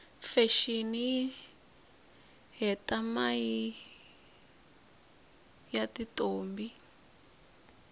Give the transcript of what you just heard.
fashini yihhetamaie yatintombi